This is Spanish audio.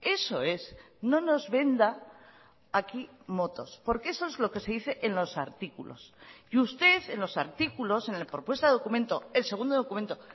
eso es no nos venda a aquí motos porque eso es lo que se dice en los artículos y usted en los artículos en la propuesta documento el segundo documento